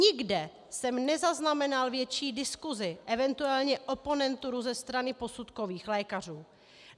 Nikde jsem nezaznamenal větší diskuzi, eventuálně oponenturu ze strany posudkových lékařů.